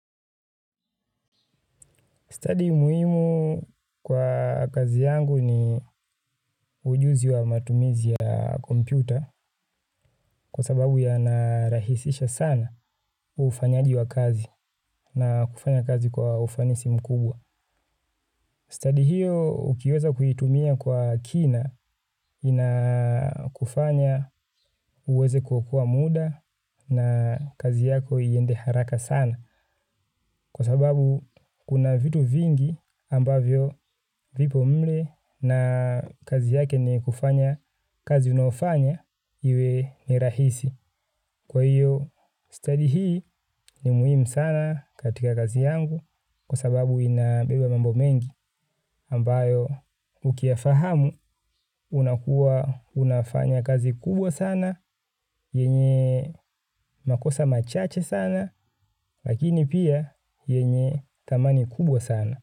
Stadi muhimu kwa kazi yangu ni ujuzi wa matumizi ya kompyuta kwa sababu yanarahisisha sana ufanyaji wa kazi na kufanya kazi kwa ufanisi mkubwa. Stadi hiyo ukiweza kuitumia kwa kina inakufanya uweze kuokoa muda na kazi yako iende haraka sana kwa sababu kuna vitu vingi ambavyo vipo mle na kazi yake ni kufanya kazi unayofanya iwe ni irahisi. Kwa hiyo stadi hii ni muhimu sana katika kazi yangu kwa sababu inabeba mambo mengi ambayo ukiyafahamu unakua unafanya kazi kubwa sana, yenye makosa machache sana, lakini pia yenye thamani kubwa sana.